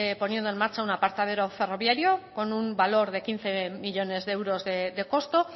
poniendo en marcha un aparcadero ferroviario con un valor de quince millónes de euros de costo